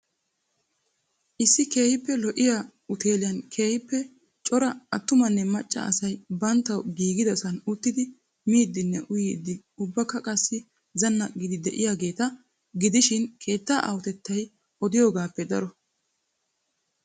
Issi keehiippe lo'iyaa uteeliyan keehiippe cora attumanne macca asay banttawu giigidasan uttidi miidinne uyiidi ubbakka qasdi zanaqqidi de'iyaageeta gidishiin keettaa aahotettay odiyogaappe daro.